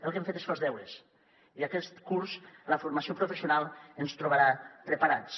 el que hem fet és fer els deures i aquest curs la formació professional ens trobarà preparats